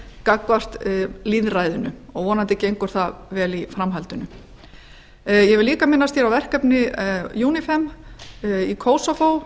gagnvart lýðræðinu og vonandi gengur það vel í framhaldinu ég vil líka minnast hér á verkefni unifem í kosovo